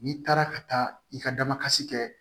N'i taara ka taa i ka damakasi kɛ